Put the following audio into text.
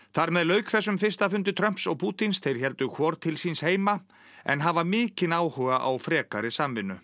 þar með lauk þessum fyrsta fundi Trumps og Pútíns þeir héldu hvor til síns heima en hafa mikinn áhuga á frekari samvinnu